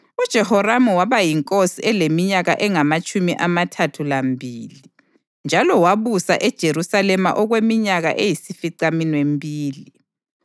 UJehoramu waba yinkosi eleminyaka engamatshumi amathathu lambili, njalo wabusa eJerusalema okweminyaka eyisificaminwembili.